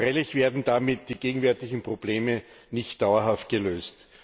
Freilich werden damit die gegenwärtigen Probleme nicht dauerhaft gelöst.